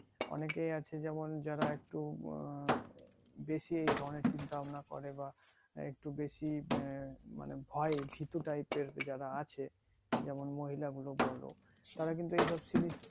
অনেকেই আছে যেমন যারা একটু আহ বেশি এই ধরণের চিন্তা ভাবনা করে বা একটু বেশি আহ মানে ভয় মানে ভীতু type এর যারা আছে যেমন মহিলা গুলো বলো তারা কিন্তু এসব জিনিস